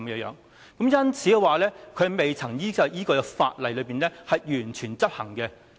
因此，它未能完全依據法律規定執行。